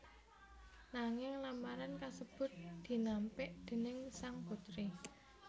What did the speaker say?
Nanging lamaran kasebut dinampik déning sang putri